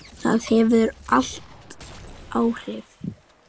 Það hefur allt áhrif.